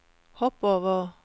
hopp over